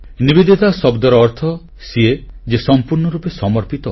ନିବେଦିତା ଶବ୍ଦର ଅର୍ଥ ସିଏ ଯେ ସମ୍ପୂର୍ଣ୍ଣ ରୂପେ ସମର୍ପିତ